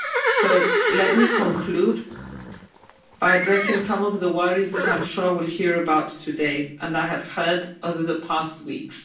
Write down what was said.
So let me conclude by addressing some of the worries that I'm sure I will hear about today and I have heard over the past weeks.